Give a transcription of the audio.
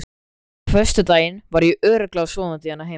Á föstudaginn var ég örugglega sofandi hérna heima.